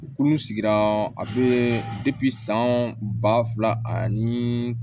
U k'ulu sigira a be san ba fila ani